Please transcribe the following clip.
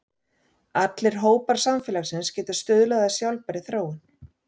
Allir hópar samfélagsins geta stuðlað að sjálfbærri þróun.